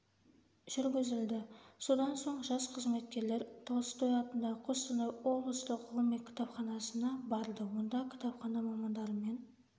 жүргізілді содан соң жас қызметкерлер толстой атындағы қостанай облыстық ғылыми кітапханасына барды онда кітапхана мамандарымен